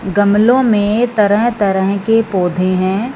गमलों में तरह-तरह के पौधे हैं।